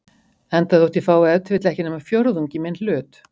enda þótt ég fái ef til vill ekki nema fjórðung í minn hlut.